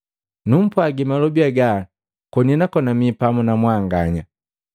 “Numpwagi malobi haga koni nakona mii pamu na mwanganya.